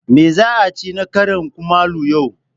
Me za a ci na karin kumallo yau?